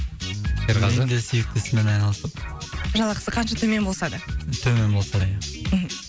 серғазы мен де сүйікті ісіммен айналысып жалақысы қанша төмен болса да төмен болса да ия мхм